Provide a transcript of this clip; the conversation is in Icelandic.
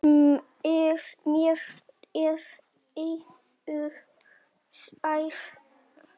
Mér er eiður sær.